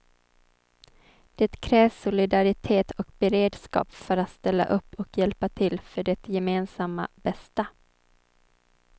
Det krävs solidaritet och beredskap för att ställa upp och hjälpa till för det gemensamma bästa.